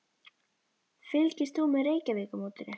Fylgist þú með Reykjavíkurmótinu?